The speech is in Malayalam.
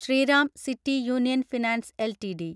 Shriram City Union Finance LTD